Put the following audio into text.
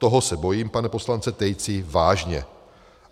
Toho se bojím, pane poslanče Tejci, vážně.